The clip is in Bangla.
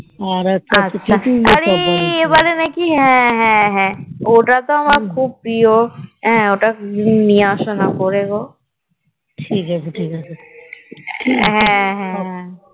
আরে এবারে নাকি হ্যাঁ হ্যাঁ ওটা তো আমার খুব প্রিয় ওটা করে নিয়ে আসনা করে গো হ্যাঁ হ্যাঁ